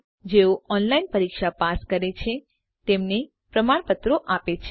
જેઓ ઓનલાઇન પરીક્ષા પાસ કરે છે તેમને પ્રમાણપત્રો આપે છે